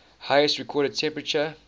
highest recorded temperature